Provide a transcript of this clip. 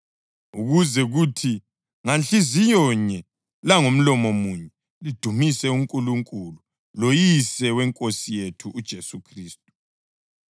ukuze kuthi Nganhliziyonye langomlomo munye lidumise uNkulunkulu loYise weNkosi yethu uJesu Khristu.